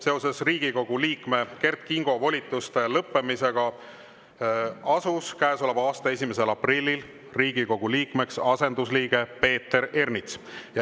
Seoses Riigikogu liikme Kert Kingo volituste lõppemisega asus käesoleva aasta 1. aprillil Riigikogu liikmeks asendusliige Peeter Ernits.